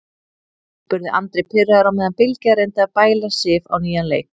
spurði Andri pirraður á meðan Bylgja reyndi að bæla Sif á nýjan leik.